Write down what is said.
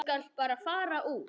Þú skalt bara fara út.